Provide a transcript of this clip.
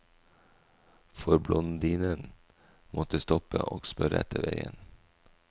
For blondinen måtte stoppe og spørre etter veien.